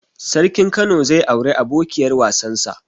Sarkin kano zai auri abokiyar wasan sa